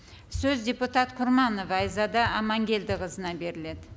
сөз депутат құрманова айзада аманкелдіқызына беріледі